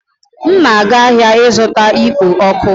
M na-aga ahịa ịzụta ikpo ọkụ